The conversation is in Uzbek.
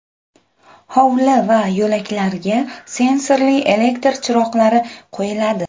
Hovli va yo‘laklarga sensorli elektr chiroqlari qo‘yiladi.